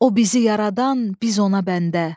O bizi yaradan, biz ona bəndə.